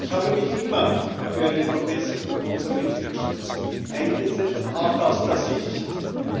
Ich habe mich immer für einen verbesserten Konsumentenschutz eingesetzt, auch aus der Sicht